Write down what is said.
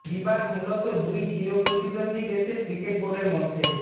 বিবাদ মূলত দুই চির প্রতিদ্বন্দ্বী দেশের ক্রিকেট বোর্ডের মধ্যে